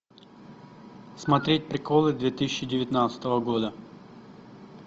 смотреть приколы две тысячи девятнадцатого года